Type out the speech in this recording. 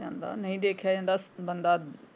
ਜਾਂਦਾ ਨਹੀਂ ਦੇਖਿਆ ਜਾਂਦਾ ਬੰਦਾ।